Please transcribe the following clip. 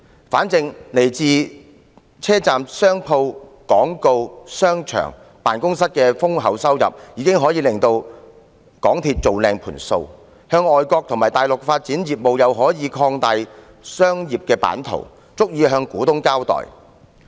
反正來自車站商鋪、廣告、商場、辦公室等豐厚收入，已可令港鐵公司"做靚盤數"，在外國和大陸發展業務又可以擴大商業版圖，足以向股東交代。